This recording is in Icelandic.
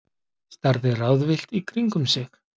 Starði ráðvillt í kringum sig.